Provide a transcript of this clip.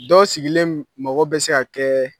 Dɔw sigilen magɔ bɛ se ka kɛ